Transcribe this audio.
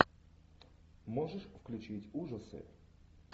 можешь включить ужасы